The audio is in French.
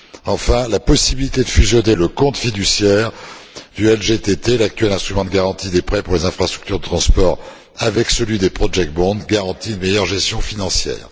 Enfin, la possibilité de fusionner le compte fiduciaire du LGTT, l'actuel instrument de garantie des prêts pour les infrastructures de transport, avec celui des project bonds garantit une meilleur gestion financière